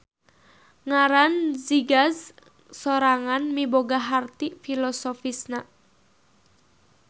Ngaran Zigaz sorangan miboga harti filosofisna.